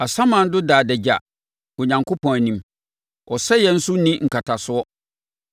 Asamando da adagya Onyankopɔn anim; Ɔsɛeɛ nso nni nkatasoɔ.